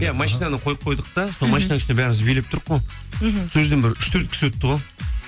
иә машинаны қойып қойдық та машинаның үстінде бәріміз билеп тұрық қой мхм сол жерден бір үш төрт кісі өтті ғой